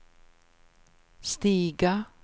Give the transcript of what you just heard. stiga